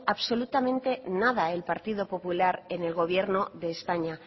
absolutamente nada el partido popular en el gobierno de españa